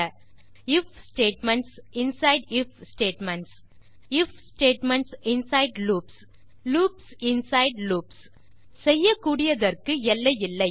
if statements inside if statements if statements inside loops loops inside loops செய்யக்கூடியதற்கு எல்லை இல்லை